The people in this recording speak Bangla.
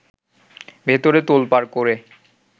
ভেতরে তোলপাড় করে